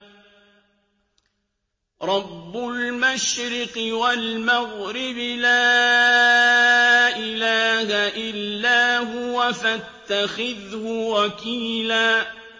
رَّبُّ الْمَشْرِقِ وَالْمَغْرِبِ لَا إِلَٰهَ إِلَّا هُوَ فَاتَّخِذْهُ وَكِيلًا